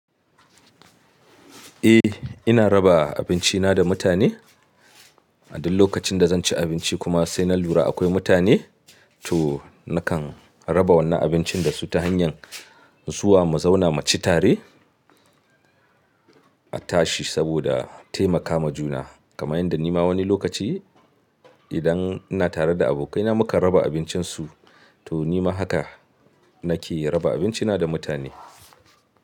Eh, ina raba abinci na da mutane. A duk lokacin da zan ci abinci kuma sai na lura akwai mutane, to nakan raba wannan abincin dasu ta hanyar zuwa mu zauna mu ci tare a tashi saboda taimakawa juna. Kamar yadda nima wani lokaci idan ina tare da abokai na muka raba abincin su, to nima haka nake raba abinci na da mutane.